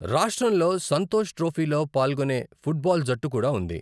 రాష్ట్రంలో సంతోష్ ట్రోఫీలో పాల్గొనే ఫుట్బాల్ జట్టు కూడా ఉంది.